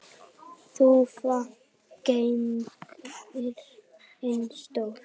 Þúfa gleypti sinn ósigur.